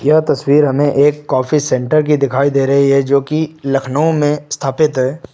यह तस्वीर हमें एक कॉफी सेंटर की दिखाई दे रही है जो कि लखनऊ में स्थापित है।